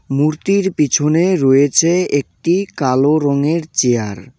মূর্তির পিছনে রয়েছে একটি কালো রঙের চেয়ার ।